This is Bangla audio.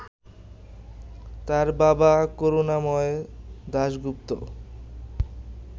তার বাবা করুণাময় দাশগুপ্ত